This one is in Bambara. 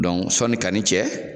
Dɔn sɔni kani cɛ